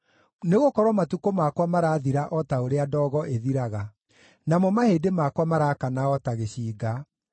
Nĩgũkorwo matukũ makwa marathira o ta ũrĩa ndogo ĩthiraga; namo mahĩndĩ makwa maraakana o ta gĩcinga.